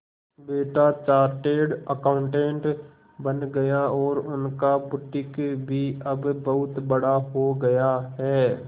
बेटा chartered accountant बन गया और उनका बुटीक भी अब बहुत बड़ा हो गया है